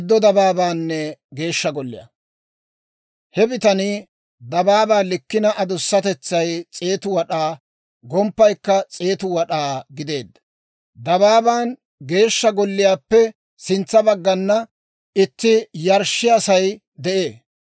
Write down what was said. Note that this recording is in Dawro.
He bitanii dabaabaa likkina adusatetsay 100 wad'aa, gomppaykka 100 wad'aa gideedda. Dabaaban Geeshsha Golliyaappe sintsa baggana itti yarshshiyaasay de'ee.